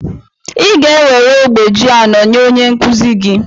ị ga-enwere ogbe ji anọ nye onye nkuzi gị